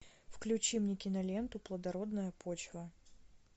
включи мне киноленту плодородная почва